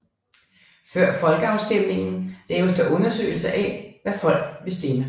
Før folkeafstemningen laves der undersøgelser af hvad folk vil stemme